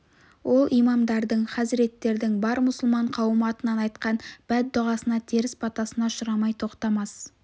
ол имамдардың хазіреттердің бар мұсылман қауымы атынан айтқан бәддұғасына теріс батасына ұшырамай тоқтамас